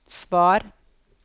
svar